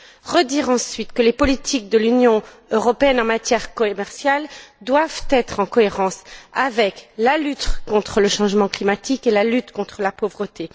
Je tiens à redire ensuite que les politiques de l'Union européenne en matière commerciale doivent être en cohérence avec la lutte contre le changement climatique et la lutte contre la pauvreté.